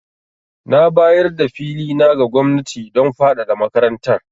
Na bayar da fili na ga gwamnati don fadada makarantar.